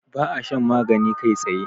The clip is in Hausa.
ba a shan magani kai tsaye